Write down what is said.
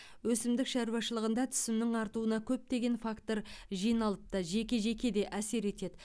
өсімдік шаруашылығында түсімнің артуына көптеген фактор жиналып та жеке жеке де әсер етеді